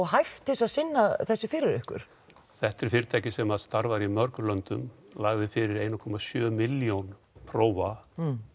hæft til að sinna þessu fyrir ykkur þetta er fyrirtæki sem starfar í mörgum löndum lagði fyrir eins komma sjö milljón prófa